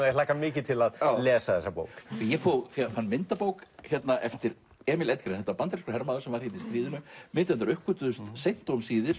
ég hlakka mikið til að lesa þessa bók ég fann myndabók eftir Emil Edgren þetta var bandarískur hermaður sem var hérna í stríðinu myndirnar uppgötvuðust seint og um síðir